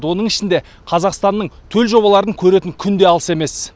оның ішінде қазақстанның төл жобаларын көретін күн де алыс емес